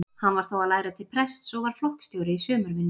Hann var þá að læra til prests og var flokksstjóri í sumarvinnu.